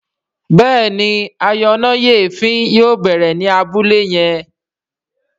Béèni ayọnáyèéfín yóò bẹrẹ ní Abúlé yén.